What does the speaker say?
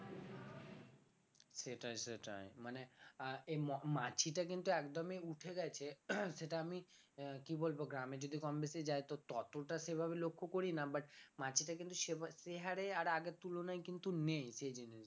সেটাই সেটাই মানে আহ এই ম মাছিটা কিন্তু একদমই উঠে গেছে সেটা আমি আহ কি বলবো গ্রামে যদি কম বেশি যাই তো ততটা সেভাবে লক্ষ্য করিনা but মাছিটা কিন্তু সেভাবে সেহারে আর আগের তুলনায় কিন্তু নেই